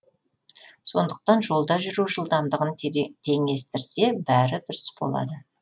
сондықтан жолда жүру жылдамдығын теңестірсе бәрі дұрыс болады